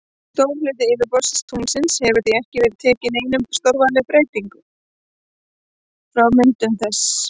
Stór hluti yfirborðs tunglsins hefur því ekki tekið neinum stórvægilegum breyting frá myndun þess.